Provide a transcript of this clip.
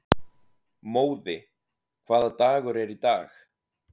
Móði, hvaða dagur er í dag?